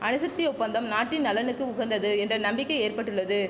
அணுசக்தி ஒப்பந்தம் நாட்டின் நலனுக்கு உகந்தது என்ற நம்பிக்கை ஏற்பட்டுள்ளது